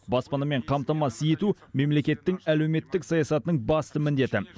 баспанамен қамтамасыз ету мемлекеттің әлеуметтік саясатының басты міндеті